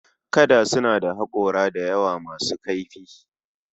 Kada suna da haƙora da yawa masu kaifi